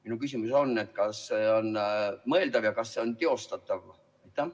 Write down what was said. Minu küsimus on: kas see on mõeldav ja kas see on teostatav?